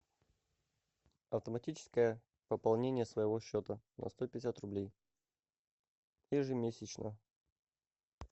автоматическое пополнение своего счета на сто пятьдесят рублей ежемесячно